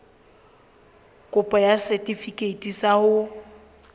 kopo ya setefikeiti sa ho